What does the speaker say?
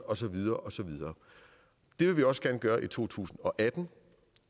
og så videre og så videre det vil vi også gerne gøre i to tusind og atten